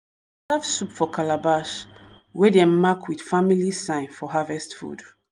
soup for calabash wey dem mark with family sign for harvest food.